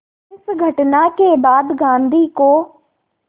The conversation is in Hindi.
इस घटना के बाद गांधी को